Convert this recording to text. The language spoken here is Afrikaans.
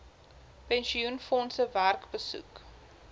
pensioenfondse werk besoek